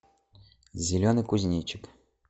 зеленый кузнечик